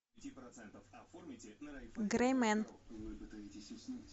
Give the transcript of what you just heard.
грэй мен